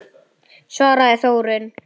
svaraði Þórunn.